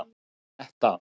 Anetta